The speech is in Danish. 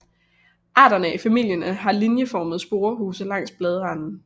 Arterne i familien har linjeformede sporehuse langs bladranden